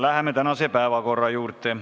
Läheme tänase päevakorra juurde.